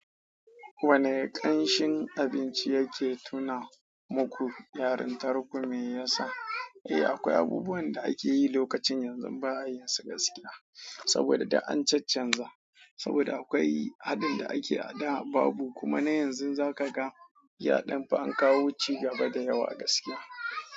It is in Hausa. Wanni kamshin abinci yaci tuna mu ku yarantar ku me yasa. Eh akwai abubuwan da ake yi lokacin yanzu ba a yi su gaskiya, saboda da an cancanza, saboda akwai haɗin da ake a da babu kuma na yanzu za ka ga ya dan fi an kawo cigaba da yawa gaskiya.